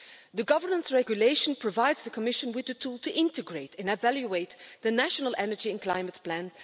The Governance Regulation provides the Commission with the tool to integrate and evaluate the National Energy and Climate Plan.